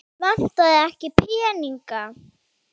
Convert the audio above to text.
Vantar þig ekki peninga núna?